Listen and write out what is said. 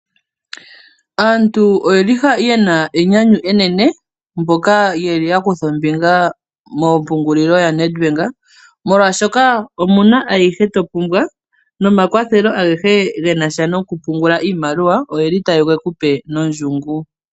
Aantu oyeli yena enyanyu enene mboka yeli yakutha ombinga moompungulilo yaNedbank molwashoka omuna ayihe topumbwa nomakwathelo agehe genasha nokupungula iimaliwa oyeli tayegekupe nondjungu.